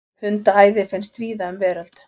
Hundaæði finnst víða um veröld.